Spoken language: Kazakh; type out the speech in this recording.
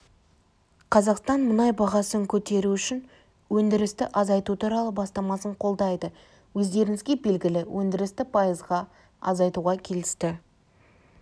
қазақстан мұнай бағасын көтеру үшін өндірісті азайту туралы бастамасын қолдайды өздеріңізге белгілі өндірісті пайызға азайтуға келісті